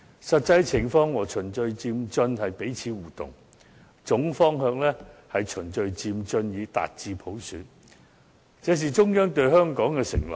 實際情況和循序漸進是彼此互動，總方向是循序漸進以達至普選，這是中央對香港的承諾。